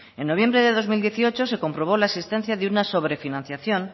en noviembre de dos mil dieciocho se comprobó la existencia de una sobrefinanciación